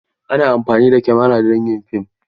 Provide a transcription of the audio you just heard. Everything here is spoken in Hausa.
Ana amfani da kamara don yin fim.